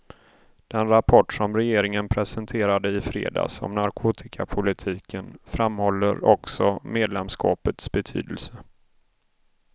Den rapport som regeringen presenterade i fredags om narkotikapolitiken framhåller också medlemskapets betydelse.